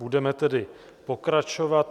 Budeme tedy pokračovat.